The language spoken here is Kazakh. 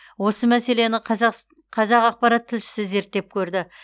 осы мәселені қазақпарат тілшісі зерттеп көрді